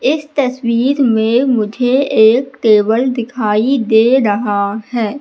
इस तस्वीर में मुझे एक टेबल दिखाई दे रहा है।